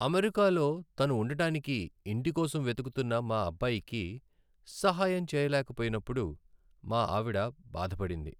అమెరికాలో తను ఉండటానికి ఇంటి కోసం వెతుకుతున్న మా అబ్బాయికి సహాయం చేయలేకపోయినప్పుడు మా ఆవిడ బాధపడింది.